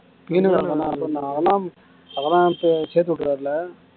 peon வேலை அவன்தான் அவன்தான் சேத்துட்டர்றார்ல